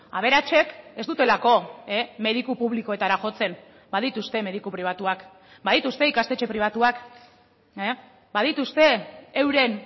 aberatsek ez dutelako mediku publikoetara jotzen badituzte mediku pribatuak badituzte ikastetxe pribatuak badituzte euren